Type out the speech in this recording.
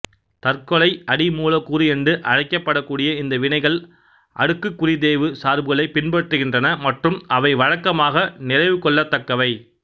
தற்கொலை அடி மூலக்கூறு என்று அழைக்கப்படக்கூடிய இந்த வினைகள் அடுக்குக்குறித்தேய்வு சார்புகளைப் பின்பற்றுகின்றன மற்றும் அவை வழக்கமாக நிறைவுகொள்ளத்தக்கவை